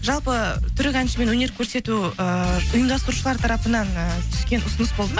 жалпы түрік әншімен өнер көрсету ыыы ұйымдастырушылар тарапынан ы түскен ұсыныс болды ма